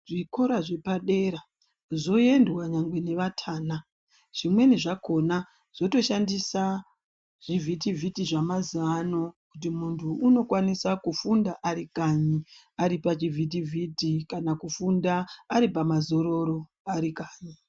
Zvikora zvepadera zvoendwa nyangwe nevatana zvimweni zvakona zvotoshandisa zvivhiti vhiti zvemazuwaano kuti muntu unokwanisa kufunda arikanyi aripachivhiti vhiti kana kufunda aripamazororo arikanyi.